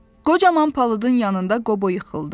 Qocaman palıdın yanında Qobo yıxıldı.